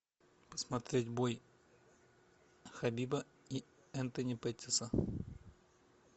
посмотреть бой хабиба и энтони петтиса